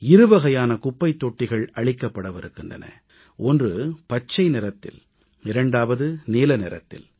இருவகையான குப்பைத்தொட்டிகள் அளிக்கப்படவிருக்கின்றன ஒன்று பச்சை நிறத்தில் இரண்டாவது நீல நிறத்தில்